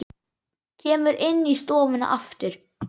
Kemur inn í stofuna aftur.